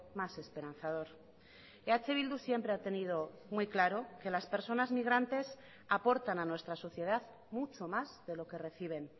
más esperanzador eh bildu siempre ha tenido muy claro que las personas migrantes aportan a nuestra sociedad mucho más de lo que reciben